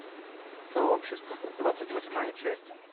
сообщество двадцать восьмая часть